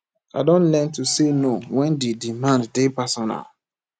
i don learn to say no wen di demand dey personal